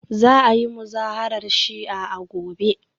Za a yi Muzaharar Shi'a a gobe